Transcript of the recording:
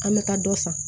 An bɛ taa dɔ san